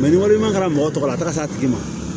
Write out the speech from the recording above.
ni kɛra mɔgɔ tɔ tɔ la a tagali ma